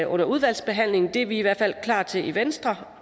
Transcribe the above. under udvalgsbehandlingen det er vi i hvert fald til i venstre